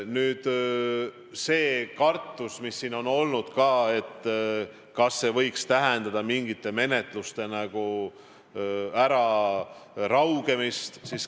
Nüüd see kartus, mis siin on ka olnud – kas see võiks tähendada mingite menetluste äraraugemist?